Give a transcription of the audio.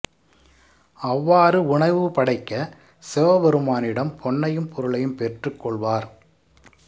அவ்வாறு உணவு படைக்க சிவபெருமானிடம் பொன்னையும் பொருளையும் பெற்றுக் கொள்வார்